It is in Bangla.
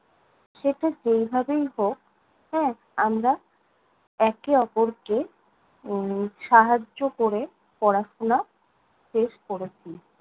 সেটা যেই ভাবেই হোক, হ্যাঁ, আমরা একে অপরকে উম সাহায্য ক'রে পড়াশোনা শেষ করেছি।